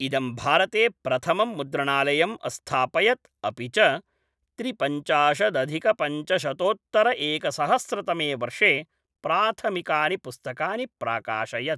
इदं भारते प्रथमं मुद्रणालयम् अस्थापयत् अपि च त्रिपञ्चाशदधिकपञ्चशतोत्तरएकसहस्रतमे वर्षे प्राथमिकानि पुस्तकानि प्राकाशयत्।